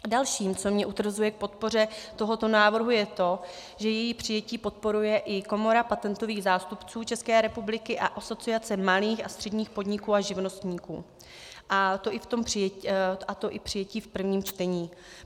Dalším, co mě utvrzuje v podpoře tohoto návrhu , je to, že její přijetí podporuje i Komora patentových zástupců České republiky a Asociace malých a středních podniků a živnostníků, a to i přijetí v prvním čtení.